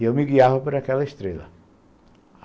E eu me guiava para aquela estrela.